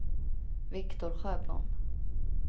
Viktor Sjöblom